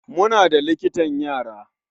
Muna da likitan yara.